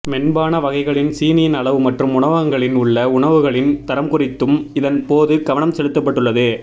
மென்பான வகைகளின் சீனியின் அளவு மற்றும் உணவகங்களில் உள்ள உணவுகளின் தரம்குறித்தும் இதன் போது கவனம் செலுத்தப்பட்டுள்ளது